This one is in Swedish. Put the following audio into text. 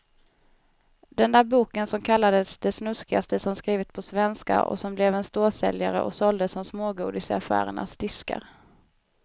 Den där boken som kallades det snuskigaste som skrivits på svenska och som blev en storsäljare och såldes som smågodis i affärernas diskar.